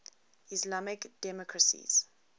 islamic democracies